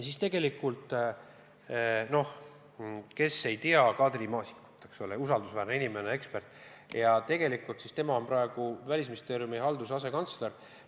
Kes ei tea Kadri Maasikut, neile ma ütlen, et ta on usaldusväärne inimene, ekspert, praegu Välisministeeriumi halduse asekantsler.